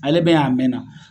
Ale be yan a mɛn na